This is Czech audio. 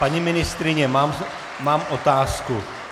Paní ministryně, mám otázku.